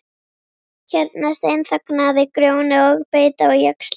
Hérna steinþagnaði Grjóni og beit á jaxlinn.